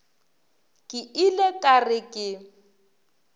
ke ile ka re ke